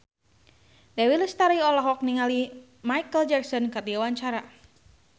Dewi Lestari olohok ningali Micheal Jackson keur diwawancara